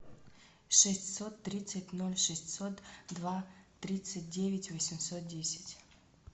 шестьсот тридцать ноль шестьсот два тридцать девять восемьсот десять